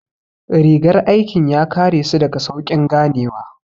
Rigar aikin ya kare su daga sauƙin ganewa